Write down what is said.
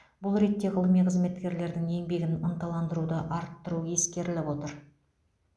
бұл ретте ғылыми қызметкерлердің еңбегін ынталандыруды арттыру ескеріліп отыр